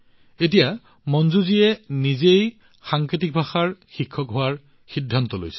এতিয়া মঞ্জুজীয়ে নিজেই সাংকেতিক ভাষাৰ শিক্ষক হোৱাৰ সিদ্ধান্ত লৈছে